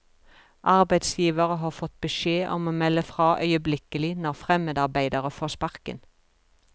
Arbeidsgivere har fått beskjed om å melde fra øyeblikkelig når fremmedarbeidere får sparken.